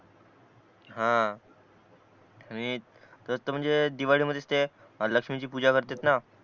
हा आणि तसं म्हणजे दिवाळी मध्ये ते लक्ष्मी ची पूजा करतायत ना